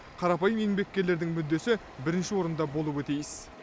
қарапайым еңбеккерлердің мүддесі бірінші орында болуы тиіс